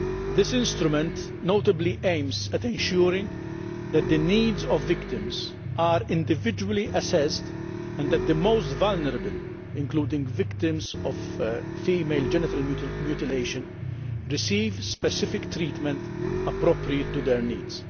This instrument notably aims at ensuring that the needs of victims are individually assessed and that the most vulnerable, including victims of female genital mutilation, receive specific treatment appropriate to their needs.